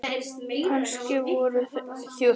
Kannski voru þau bara að stríða hvort öðru.